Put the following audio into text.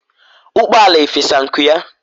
ukpala efesa nku ya?